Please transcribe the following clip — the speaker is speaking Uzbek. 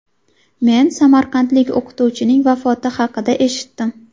Men samarqandlik o‘qituvchining vafoti haqida eshitdim.